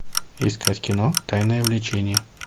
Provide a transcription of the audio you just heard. искать кино тайное влечение